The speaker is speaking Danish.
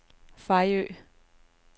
Fejø